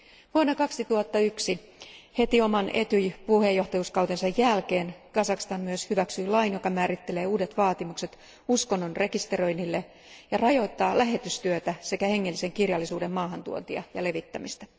Vuonna 2001, heti oman ETYJ puheenjohtajuuskautensa jälkeen Kazakstan myös hyväksyi lain, joka määrittelee uudet vaatimukset uskonnon rekisteröinnille ja rajoittaa lähetystyötä sekä hengellisen kirjallisuuden maahantuontia ja levittämistä.